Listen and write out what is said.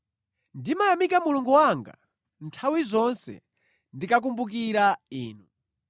Ndimayamika Mulungu wanga nthawi zonse ndikakumbukira inu.